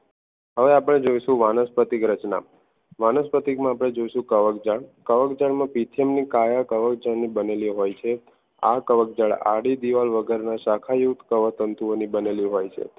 હવે આપણે જોઈશું વાનસ્પતિક રચના વાનસ્પતિક માં જઈશું આપણે કવક જાળ કવક જાળ કાયા કવક જાળની બનેલી હોય છે આ કવક જાળ આડી દીવાલ વગરના શાખા યુગ કવક તંતુ બનેલી હોય છે